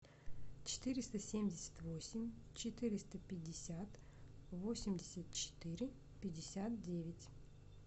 четыреста семьдесят восемь четыреста пятьдесят восемьдесят четыре пятьдесят девять